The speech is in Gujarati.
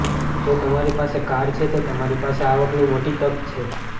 જો તમારી પાસે કાર છે તો તમારી પાસે આવકની મોટી તક છે